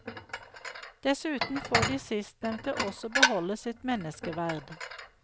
Dessuten får de sistnevnte også beholde sitt menneskeverd.